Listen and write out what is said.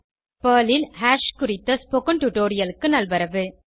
Perl ல் hash குறித்த spoken டுடோரியலுக்கு நல்வரவு